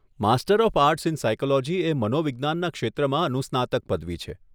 Master of arts in psychology એ મનોવિજ્ઞાનના ક્ષેત્રમાં અનુસ્નાતક પદવી છે.